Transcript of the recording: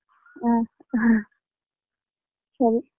ಹಾ ಸರಿ.